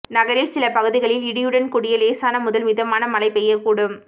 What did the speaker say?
நகரின் சில பகுதிகளில் இடியுடன் கூடிய இலேசான முதல் மிதமான மழை பெய்யக்கூடும்